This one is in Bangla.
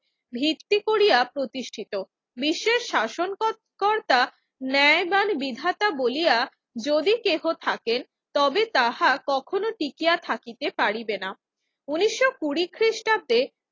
ভিত্তি করিয়া প্রতিষ্ঠিত। বিশ্বের শাসন কর~ কর্তা ন্যায়বান বিধাতা বলিয়া যদি কেহ থাকেন তবে তাহা কখনো টিকিয়া থাকিতে পারিবে না। ঊনিশশ কুড়ি খ্রিস্টাব্দে